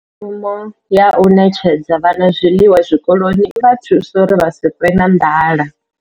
Mushumo ya u ṋetshedza vhana zwiḽiwa zwikoloni i vha thusa uri vha si ṱwe na nḓala.